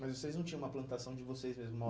Mas vocês não tinham uma plantação de vocês mesmos, uma